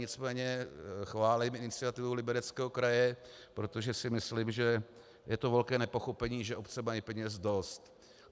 Nicméně chválím iniciativu Libereckého kraje, protože si myslím, že to je velké nepochopení, že obce mají peněz dost.